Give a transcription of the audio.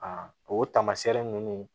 o taamasiyɛn ninnu